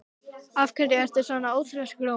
Af hverju ertu svona þrjóskur, Ómi?